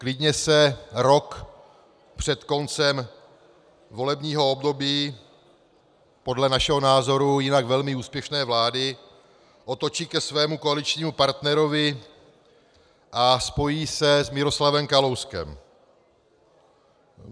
Klidně se rok před koncem volebního období podle našeho názoru jinak velmi úspěšné vlády otočí ke svému koaličnímu partnerovi a spojí se s Miroslavem Kalouskem.